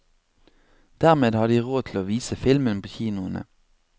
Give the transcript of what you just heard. Dermed har de råd til å vise filmen på kinoene.